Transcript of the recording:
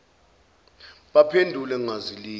baphendule ngazwi linye